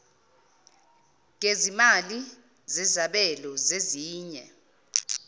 gezimali zezabelo zeminye